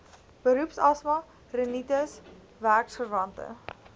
beroepsasma rinitis werkverwante